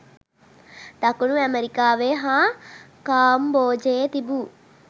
දකුණු ඇමරිකාවේ හා කාම්බෝජයේ තිබූ